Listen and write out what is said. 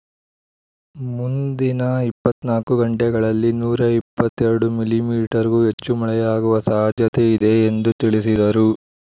ಮುಂದಿನ ಇಪ್ಪತ್ತ್ ನಾಲ್ಕು ಗಂಟೆಗಳಲ್ಲಿ ನೂರ ಇಪ್ಪತ್ತ್ ಎರಡು ಮಿಲಿ ಮೀಟರ್ ಗೂ ಹೆಚ್ಚು ಮಳೆಯಾಗುವ ಸಾಧ್ಯತೆ ಇದೆ ಎಂದು ತಿಳಿಸಿದರು